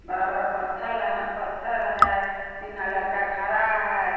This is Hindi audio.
बड़ा बड़ा पत्थल है है तीनों लड़का खड़ा है।